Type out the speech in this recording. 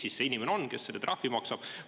Kes see inimene on, kes selle trahvi maksab?